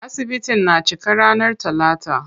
Asibitin na cika ranar talata.